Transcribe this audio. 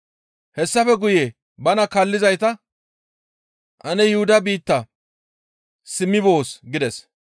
Hessafe guye bana kaallizayta, «Ane Yuhuda biitta simmi boos» gides.